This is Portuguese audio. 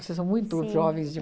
Vocês são muito jovens de